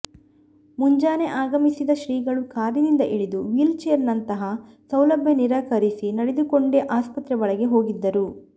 ಮುಂಜಾನೆ ಆಗಮಿಸಿದ ಶ್ರೀಗಳು ಕಾರಿನಿಂದ ಇಳಿದು ವ್ಹೀಲ್ ಚೇರ್ ನಂತಹ ಸೌಲಭ್ಯ ನಿರಾಕರಿಸಿ ನಡೆದುಕೊಂಡೇ ಆಸ್ಪತ್ರೆ ಒಳಗೆ ಹೋಗಿದ್ದರು